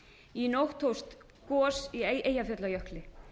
í nótt hófst gos í eyjafjallajökli